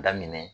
Daminɛ